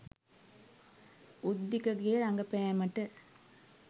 උද්දිකගේ රඟපෑමට